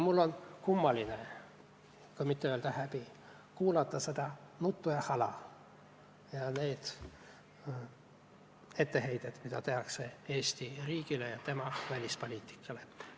Mul on kummaline – et mitte öelda häbi – kuulata seda nuttu ja hala ning neid etteheiteid, mida tehakse Eesti riigile ja tema välispoliitikale.